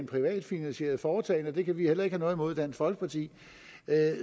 privat finansieret foretagende og det kan vi heller ikke have noget imod i dansk folkeparti